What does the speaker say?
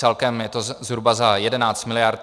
Celkem je to zhruba za 11 miliard.